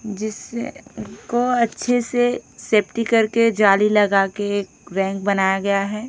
जिस को अच्छे से सेफ्टी करके जाली लगा के रैक बनाया गया है।